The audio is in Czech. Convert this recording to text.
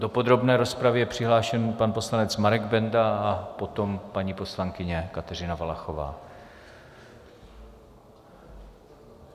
Do podrobné rozpravy je přihlášený pan poslanec Marek Benda a potom paní poslankyně Kateřina Valachová.